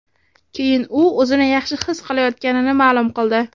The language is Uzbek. Keyin u o‘zini yaxshi his qilayotganini ma’lum qildi.